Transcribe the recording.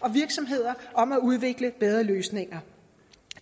og virksomheder om at udvikle bedre løsninger